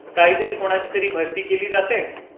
काहीतरी कोणाची तरी भरती केली जाते.